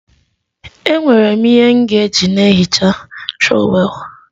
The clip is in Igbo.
Enwere m ihe m ga-eji na-ehicha trọwel